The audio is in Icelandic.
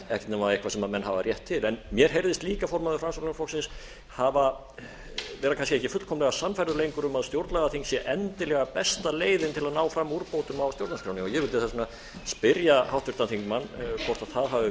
ekkert nema eitthvað sem menn hafa rétt til mér heyrðist líka formaður framsóknarflokksins vera kannski ekki fullkomlega sannfærður lengur um að stjórnlagaþing sé endilega besta leiðin til að ná fram úrbótum á stjórnarskránni ég vildi þess vegna spyrja háttvirtan þingmann hvort það hafi